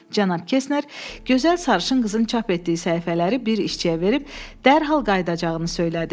Cənab Kesner gözəl sarışın qızın çap etdiyi səhifələri bir işçiyə verib dərhal qayıdacağını söylədi.